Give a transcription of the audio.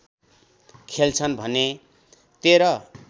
खोल्छन् भने १३